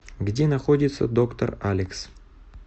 где находится доктор алекс